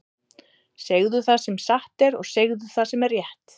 Segðu það sem satt er, og segðu það sem er rétt!